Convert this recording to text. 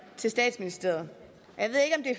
til statsministeriet